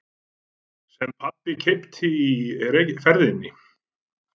Sem pabbi keypti í ferðinni.